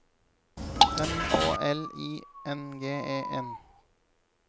M Å L I N G E N